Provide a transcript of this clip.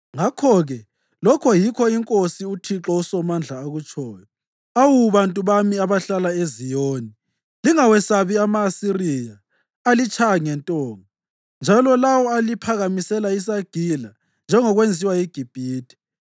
Ngakho-ke lokho yikho iNkosi, uThixo uSomandla akutshoyo: “Awu bantu bami abahlala eZiyoni, lingawesabi ama-Asiriya alitshaya ngentonga njalo lawo aliphakamisela isagila njengokwenziwa yiGibhithe.